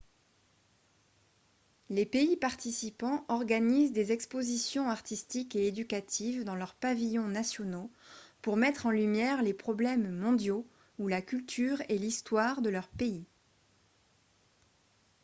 les pays participants organisent des expositions artistiques et éducatives dans leurs pavillons nationaux pour mettre en lumière les problèmes mondiaux ou la culture et l'histoire de leur pays